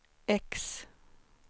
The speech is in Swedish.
X